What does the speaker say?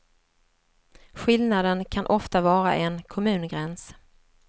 Skillnaden kan ofta vara en kommungräns.